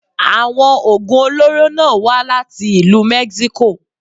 Àwọn Ògùn olóró náà wá láti ìlú Mexico.